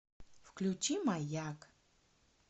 включи маяк